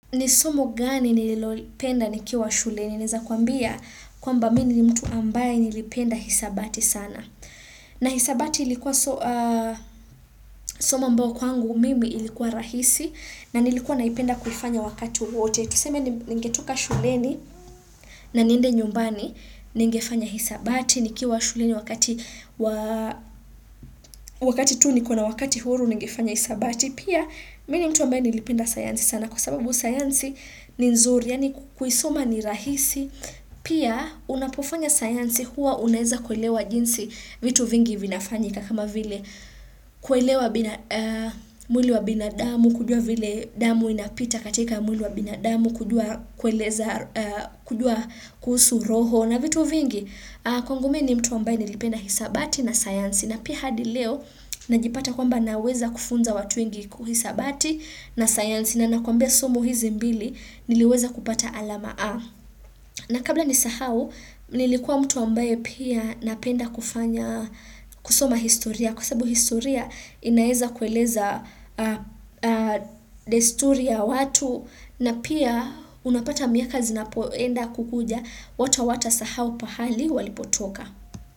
Ni somo gani nililopenda nikiwa shuleni, naeza kwambia kwamba mimi mtu ambaye nilipenda hesabati sana. Na hesabati ilikuwa soma ambao kwangu mimi ilikuwa rahisi na nilikuwa naipenda kuifanya wakati wowote. Tuseme ningetoka shuleni naniende nyumbani, nigefanya hesabati, nikiwa shuleni wakati tu niko na wakati huru nigefanya hesabati. Pia, mimi mtu ambaye nilipenda sayansi sana kwa sababu sayansi ni nzuri, yaani kuisoma ni rahisi. Pia, unapofanya sayansi huwa unaweza kuelewa jinsi vitu vingi vinafanyika kama vile kuelewa mwili wa binadamu, kujua vile damu inapita katika mwili wa binadamu, kujua kuhusu roho. Na vitu vingi kwangu mimi mtu ambaye nilipenda hesabati na science na pia hadi leo najipata kwamba naweza kufunza watu wengi hesabati na sayansi na ninakwambia somo hizi mbili niliweza kupata alama A. Na kabla nisahau nilikuwa mtu ambaye pia napenda kusoma historia kwa sababu historia inaweza kueleza desturi ya watu na pia unapata miaka zinapoenda kukuja watu hawatasahau pahali walipotoka.